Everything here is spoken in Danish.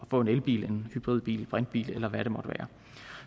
få en elbil hybridbil brintbil eller hvad det måtte være